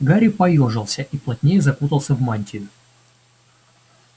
гарри поёжился и плотнее закутался в мантию